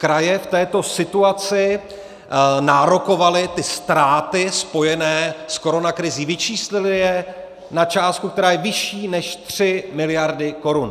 Kraje v této situaci nárokovaly ty ztráty spojené s koronakrizí, vyčíslily je na částku, která je vyšší než 3 miliardy korun.